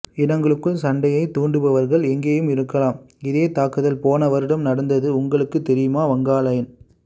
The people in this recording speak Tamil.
இனங்களுக்குள் சண்டையை தூண்டுபவர்கள் எங்கேயும் இருக்கலாம் இதே தாக்குதல் போன வருடம் நடந்து உங்களுக்கு தெரியுமா வங்காலயன்